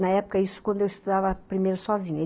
Na época, isso quando eu estudava primeiro sozinha.